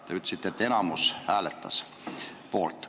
Te ütlesite, et enamik hääletas poolt.